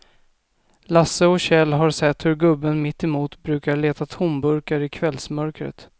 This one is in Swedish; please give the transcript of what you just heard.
Lasse och Kjell har sett hur gubben mittemot brukar leta tomburkar i kvällsmörkret.